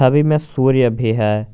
छवि में सूर्य भी है।